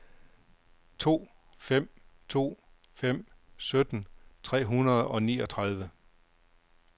to fem to fem sytten tre hundrede og niogtredive